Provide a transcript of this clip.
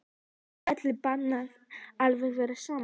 Er öllum bara alveg sama?